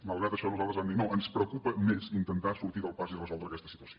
malgrat això nosaltres vam dir no ens preocupa més intentar sortir del pas i resoldre aquesta situació